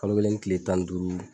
Kalo kelen ni kile tan ni duuru